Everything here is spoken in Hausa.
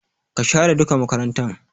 Ka share duka makarantan!